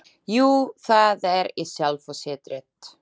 Jú, það er í sjálfu sér rétt.